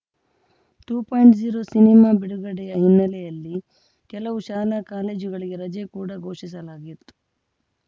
to point zero ಸಿನಿಮಾ ಬಿಡುಗಡೆಯ ಹಿನ್ನೆಲೆಯಲ್ಲಿ ಕೆಲವು ಶಾಲಾ ಕಾಲೇಜುಗಳಿಗೆ ರಜೆ ಕೂಡ ಘೋಷಿಸಲಾಗಿತ್ತು